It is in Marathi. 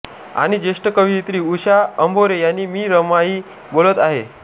आणि ज्येष्ठ कवयित्री उषा अंभोरे यांनी मी रमाई बोलत आहे